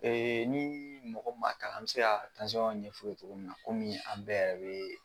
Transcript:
ni mɔgɔ mun ma kalan an bɛ se ka ɲɛ o tigi ye cogo min na kɔmi an bɛ yɛrɛ.